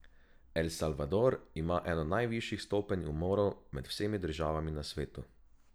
El Salvador ima eno najvišjih stopenj umorov med vsemi državami na svetu.